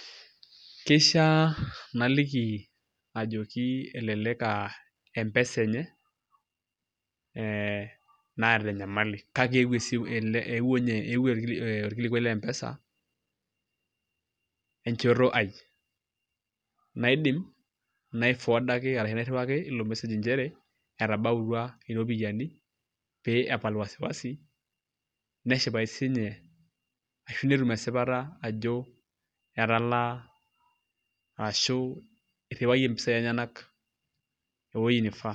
Keishiaa naliki ajoki elelek aa M-pesa enye naata enyamali kake eeuo orkilikuai le M-pesa enchoto aai naidim naiforwardaki ashu nairriwaki ilo message nchere etabautua iropiyiani pee epal wasi wasi neshipayu siinye ashu netum esipata ajo etalaa arashu irriwayie mpisaai enyenak ewuoi naifaa.